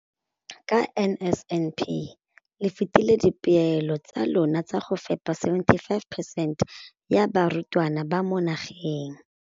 Ka NSNP le fetile dipeelo tsa lona tsa go fepa 75 percent ya barutwana ba mo nageng.